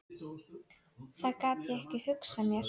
Það gat ég ekki hugsað mér.